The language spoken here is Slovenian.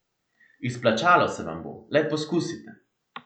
Izplačalo se vam bo, le poskusite!